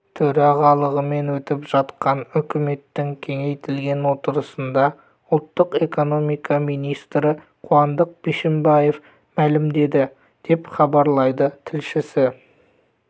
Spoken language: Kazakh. төрағалығымен өтіп жатқан үкіметтің кеңейтілген отырысында ұлттық экономика министрі қуандық бишімбаев мәлімдеді деп хабарлайды тілшісі